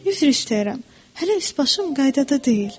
Üzr istəyirəm, hələ üsbaşım qaydada deyil.